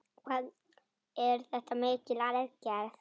Hvað er þetta mikil aðgerð?